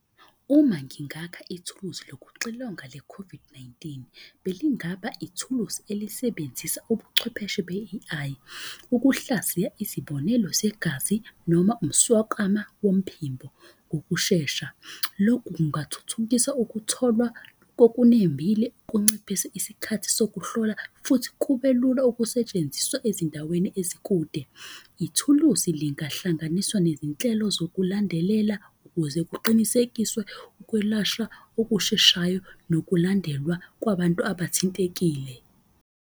Uma ngingakha ithuluzi lokuxilonga le-COVID-19. Belingaba ithuluzi elisebenzisa ubuchwepheshe be-A_I. Ukuhlaziya izibonelo zegazi noma umswakama womphimbo ngokushesha. Lokhu kungathuthukisa ukutholwa kokunembile kunciphise isikhathi sokuhlola. Futhi kube lula ukusetshenziswa ezindaweni ezikude. Ithuluzi lingahlanganiswa nezinhlelo zokulandelela ukuze kuqinisekiswe ukwelashwa okusheshayo, nokulandelwa kwabantu abathintekile.